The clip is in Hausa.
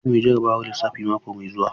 Za mu yi jarrabawar lissafi mako mai zuwa.